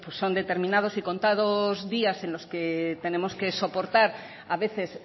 son determinados y contados días en los que tenemos que soportar a veces